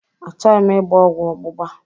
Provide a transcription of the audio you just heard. Achọghị m ịgba ọgwụ ọgbụgba.